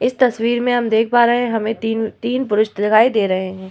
इस तस्वीर में हम देख पा रहे हैं हमें तीन-तीन पुरुष दिखाई दे रहे हैं।